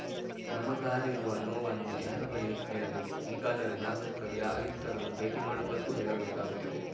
ನಮಗಾರಿರುವ ನೋವನ್ನು ಯಾರ ಬಳಿ ಹೇಳಬೇಕು ಹೀಗಾದರೆ ನಾಗರಿಕರು ಆಯುಕ್ತರನ್ನು ಭೇಟಿ ಮಾಡುವುದಕ್ಕೂ ಹೆದರಬೇಕಾಗುತ್ತದೆ